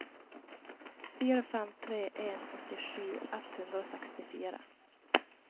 fire fem tre en åttisju ett hundre og sekstifire